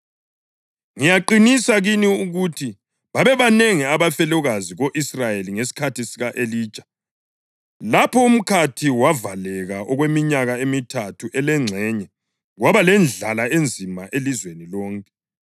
Ngiyaqinisa kini ukuthi babebanengi abafelokazi ko-Israyeli ngesikhathi sika-Elija, lapho umkhathi wavaleka okweminyaka emithathu elengxenye kwaba lendlala enzima elizweni lonke.